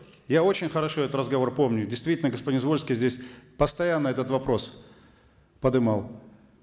я очень хорошо этот разговор помню действительно господин звольский здесь постоянно этот вопрос подымал